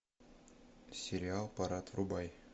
сериал парад врубай